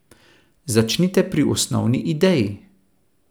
Začnite pri osnovni ideji.